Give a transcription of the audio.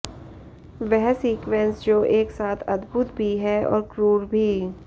वह सीक्वेंस जो एक साथ अद्भुत भी है और क्रूर भी